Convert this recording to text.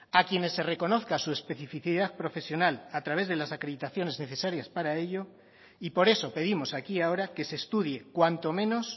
a quienes se reconozca su especificidad profesional a través de las acreditaciones necesarias para ello y por eso pedimos aquí y ahora que se estudie cuanto menos